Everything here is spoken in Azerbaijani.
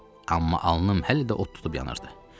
Amma alnım hələ də od tutub yanırdı.